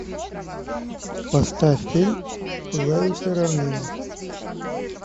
поставь фильм пылающая равнина